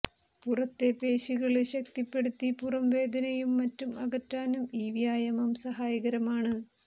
പുറത്തെ പേശികള് ശക്തിപ്പെടുത്തി പുറം വേദനയും മറ്റും അകറ്റാനും ഈ വ്യായാമം സഹായകരമാണ്